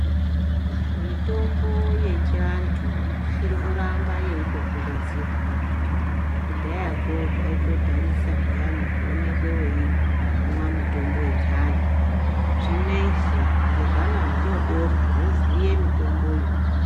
Mitombo yechiandu irikuramba yeyindokurudzirwa kudhayako zvaitodhanisa peyani kuwonekwe weyimwa mitombo yechiandu zvineizvi ngehwana hudodori hwoziye mitomboyu.